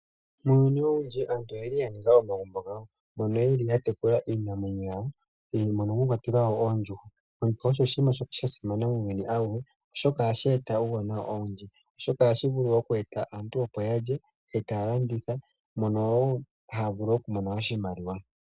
Muuyuni owundji aantu oyeli ya ninga omagumbo gawo mono yeli ya tekula iinamwenyo yawo mono mwa kwatelwa oondjuhwa. Oondjuhwa osho oshinima sha simana muuyuni awuhe, oshoka ohashi eta uuwanawa owundji, ohashi eta aantu opo ya lye etaya landitha mono wo haya vulu oku mona oshimaliwa.